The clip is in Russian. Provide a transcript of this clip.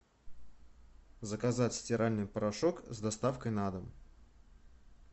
заказать стиральный порошок с доставкой на дом